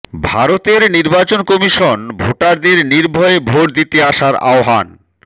ভারতের নির্বাচন কমিশন ভোটারদের নির্ভয়ে ভোট দিতে আসার আহবান